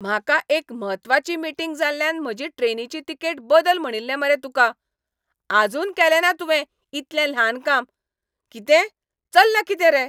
म्हाका एक म्हत्वाची मीटिंग जाल्ल्यान म्हजी ट्रेनीची तिकेट बदल म्हणिल्लें मरे तुका. आजून केलें ना तुवें इतलें ल्हान काम. कितें, चल्ला कितें रे?.